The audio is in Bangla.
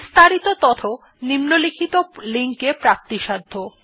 বিস্তারিত তথ্য নিম্নলিখিত লিঙ্ক এ প্রাপ্তিসাধ্য